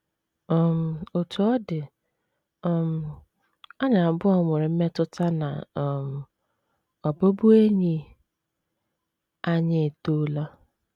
um Otú ọ dị um, anyị abụọ nwere mmetụta na um ọbụbụenyi anyị etoola.